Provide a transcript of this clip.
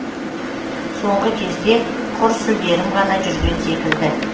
соңғы кезде құр сүлдерім ғана жүрген секілді